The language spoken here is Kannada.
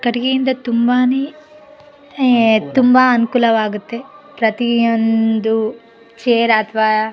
ಕಟ್ಟಿಗೆ ಇಂದ ತುಂಬಾನೇ ಹೇ ತುಂಬಾ ಅನುಕೂಲವಾಗುತ್ತೆ ಪ್ರತಿಯೊಂದು ಚೈರ್ ಅಥವಾ --